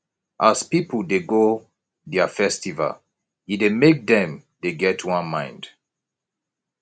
as pipu dey do their festival e dey make dem dey get one mind